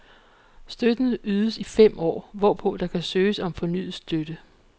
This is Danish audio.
Støtten ydes i fem år, hvorpå der kan søges om fornyet støtte.